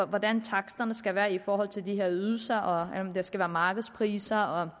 hvordan taksterne skal være i forhold til de her ydelser og om det skal være markedspriser og